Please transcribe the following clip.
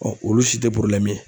olu si tɛ ye.